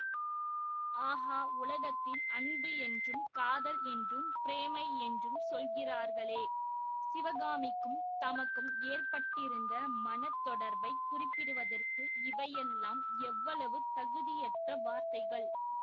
ஆஹா உலகத்தில் அன்பு என்றும் காதல் என்றும் பிரேமை என்றும் சொல்கிறார்களே சிவகாமிக்கும் தமக்கும் ஏற்பட்டிருந்த மன தொடர்பைக் குறிப்பிடுவதற்கு இவையெல்லாம் எவ்வளவு தகுதியற்ற வார்த்தைகள்